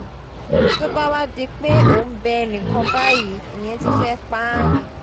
tó bá fi wáá di pé ò ń bẹ ẹnì kan báyìí ìyẹn ti fẹ́ẹ́ pa á ni